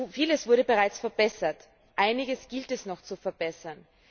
Vieles wurde bereits verbessert, einiges gilt es noch zu verbessern.